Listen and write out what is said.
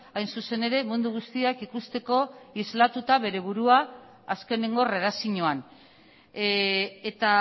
hain zuzen ere mundu guztiak ikusteko islatuta bere burua azkenengo erredakzioan eta